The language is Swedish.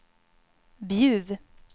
Bjuv